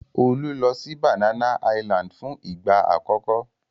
Olu lọ sí Banana Island fún ìgbà àkọ́kọ́.